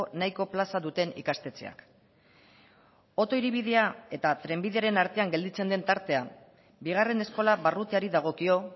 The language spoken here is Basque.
nahiko plaza duten ikastetxeak oto hiribidea eta trenbideren artean gelditzen den tartea bigarren eskola barrutiari dagokio